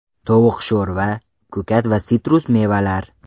Tovuq sho‘rva, ko‘kat va sitrus mevalar.